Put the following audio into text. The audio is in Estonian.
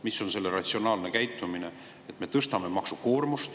Mismoodi on see ratsionaalne käitumine, et me tõstame maksukoormust?